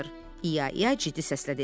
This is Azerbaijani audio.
İya-iya ciddi səslə dedi.